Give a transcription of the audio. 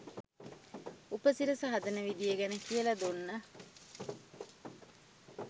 උපසිරස හදන විදිය ගැන කියල දුන්න